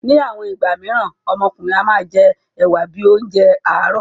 Ní àwọn ìgbà míràn, ọmọkùnrin náà a máa jẹ ẹ̀wa bíi oúnjẹ àárọ̀.